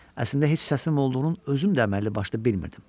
Əslində heç səsim olduğunun özüm də əməlli başlı bilmirdim.